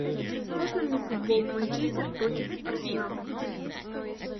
можно мне футбол манчестер против арсенал